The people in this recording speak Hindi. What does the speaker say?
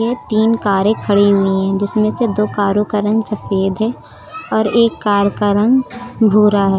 ये तीन कारें खड़ी हुई हैं जिसमें से दो कारों का रंग सफेद है और एक कार का रंग भूरा है।